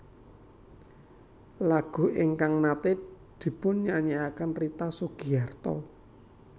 Lagu ingkang naté dipunyanyekaken Rita Sugiarto